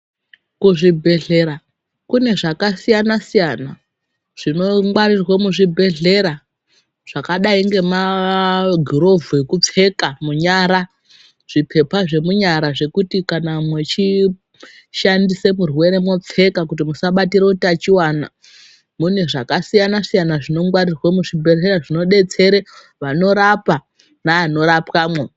Kuzvibhedhlera kune zvakasiyana siyana zvinongwarirwa muzvibhedhlera zvakadai ngema girovhu ekupfeka munyara kana zvipepa zvemunyara zvekuti kana muchishandisa murwere mwopfeka kuti musabatira utachiwana. Mune zvakasiyana siyana zvinongwarirwa muzvibhedhlera zvinodetsera vanorapa neanorapwamwo.